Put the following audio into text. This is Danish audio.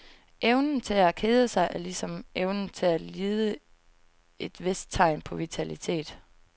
Evnen til at kede sig er, ligesom evnen til at lide, et vist tegn på vitalitet.